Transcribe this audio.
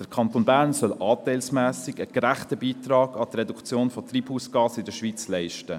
Der Kanton Bern soll anteilsmässig einen gerechten Beitrag an die Reduktion von Treibhausgasen in der Schweiz leisten.